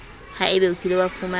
haebe o kile wa fumana